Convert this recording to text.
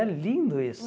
É lindo isso.